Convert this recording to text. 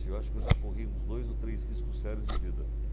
Assim, eu acho que eu já corri uns dois ou três riscos sérios de vida.